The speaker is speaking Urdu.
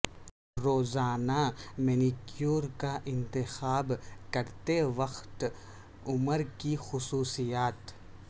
روزانہ مینیکیور کا انتخاب کرتے وقت عمر کی خصوصیات